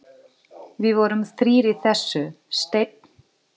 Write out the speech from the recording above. Við vorum þrír í þessu: Steinn